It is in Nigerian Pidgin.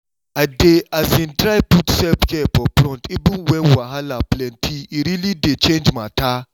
i dey um try put self-care for front even when wahala plenty—e really dey change matter.